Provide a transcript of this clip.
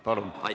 Palun!